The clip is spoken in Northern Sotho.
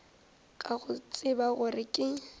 ka go tseba gore ke